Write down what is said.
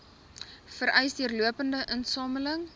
vereis deurlopende insameling